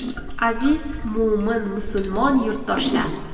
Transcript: Aziz mo‘min-musulmon yurtdoshlar!